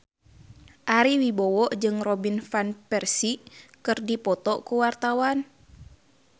Ari Wibowo jeung Robin Van Persie keur dipoto ku wartawan